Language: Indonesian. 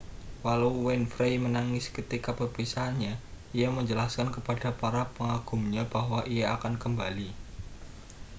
walau winfrey menangis ketika perpisahannya ia menjelaskan kepada para pengagumnya bahwa ia akan kembali